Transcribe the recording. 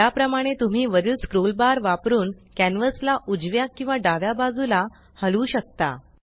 याप्रमाणे तुम्ही वरील स्क्रोल बार वापरुन कॅन्वस ला उजव्या किंवा डाव्या बाजूला हलवू शकता